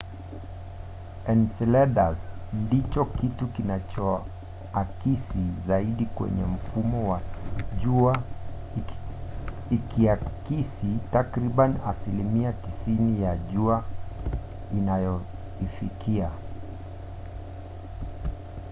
enceladus ndicho kitu kinachoakisi zaidi kwenye mfumo wa jua ikiakisi takribani asilimia 90 ya jua inayoifikia